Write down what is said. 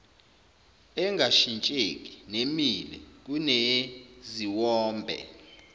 engashintsheki nemile kuneziwombe